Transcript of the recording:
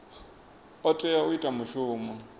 o tea u ita mushumo